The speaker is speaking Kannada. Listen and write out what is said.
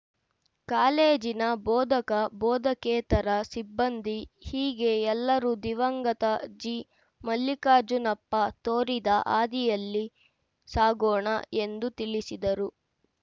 ಕಾಲೇಜಿನ ಬೋಧಕಬೋಧಕೇತರ ಸಿಬ್ಬಂದಿ ಹೀಗೆ ಎಲ್ಲರೂ ದಿವಂಗತ ಜಿಮಲ್ಲಿಕಾರ್ಜುನಪ್ಪ ತೋರಿದ ಹಾದಿಯಲ್ಲಿ ಸಾಗೋಣ ಎಂದು ತಿಳಿಸಿದರು